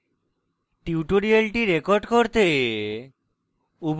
tutorial record করতে